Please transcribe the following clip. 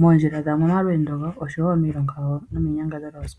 mondjila dhawo momalweendo gawo oshowo miilonga yawo nomiinyangadhalwa yosikola.